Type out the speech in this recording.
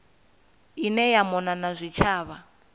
ine ya mona na zwitshavha